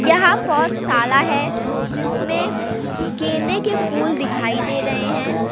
यहां पौध शाला है जिसमें गेंदे के फूल दिखाई दे रहे हैं।